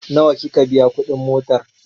Nawa kika biya kuɗin motar?